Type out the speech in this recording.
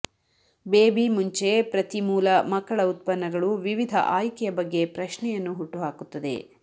baby ಮುಂಚೆ ಪ್ರತಿ ಮೂಲ ಮಕ್ಕಳ ಉತ್ಪನ್ನಗಳು ವಿವಿಧ ಆಯ್ಕೆಯ ಬಗ್ಗೆ ಪ್ರಶ್ನೆಯನ್ನು ಹುಟ್ಟುಹಾಕುತ್ತದೆ